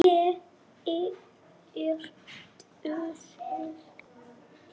Ég er dösuð.